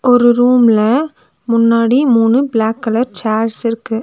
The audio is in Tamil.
ஒரு ரூம்ல முன்னாடி மூணு பிளாக் கலர் சேர்ஸ்ஸிருக்கு .